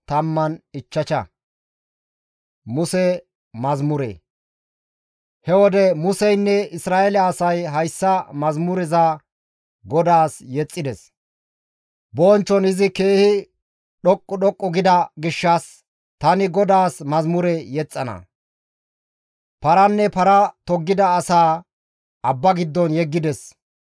He wode Museynne Isra7eele asay hayssa mazamureza GODAAS yexxides; «Bonchchon izi keehi dhoqqu dhoqqu gida gishshas, tani GODAAS mazamure yexxana. Paranne para toggida asaa abba giddon yeggides.